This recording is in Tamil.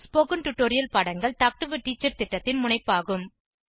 ஸ்போகன் டுடோரியல் பாடங்கள் டாக் டு எ டீச்சர் திட்டத்தின் முனைப்பாகும்